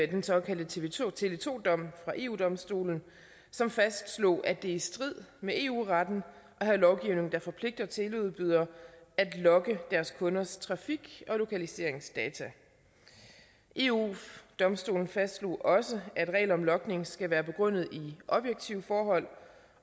den såkaldte tele2 tele2 dom fra eu domstolen som fastslog at det er i strid med eu retten at have lovgivning der forpligter teleudbydere at logge deres kunders trafik og lokaliseringsdata eu domstolen fastslog også at regler om logning skal være begrundet i objektive forhold